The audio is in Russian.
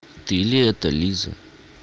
ты ли это лиза